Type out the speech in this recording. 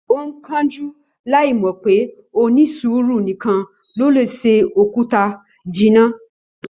Ó ń kánjú láì mọ̀ pé onísùúrù nìkan ló lè se òkúta jinná